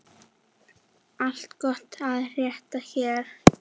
Allt gott að frétta hér.